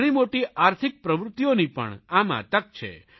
ઘણીમોટી આર્થિક પ્રવૃત્તિઓની પણ આમાં તક છે